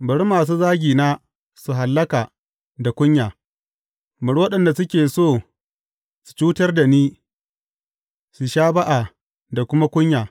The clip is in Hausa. Bari masu zagina su hallaka da kunya; bari waɗanda suke so su cutar da ni su sha ba’a da kuma kunya.